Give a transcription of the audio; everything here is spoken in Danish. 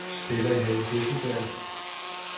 Stella Hesselberg